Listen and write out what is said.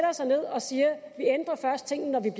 os ned og siger